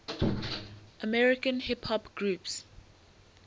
american hip hop groups